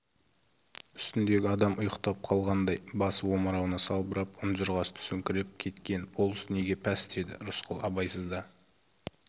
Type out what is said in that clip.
үстіндегі адам ұйықтап қалғандай басы омырауына салбырап ұнжырғасы түсіңкіреп кеткен болыс неге пәс деді рысқұл абайсызда